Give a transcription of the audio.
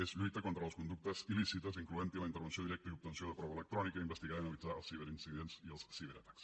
és lluitar contra les conductes il·lícites incloent hi la intervenció directa i obtenció de prova electrònica investigar i analitzar els ciberincidents i els ciberatacs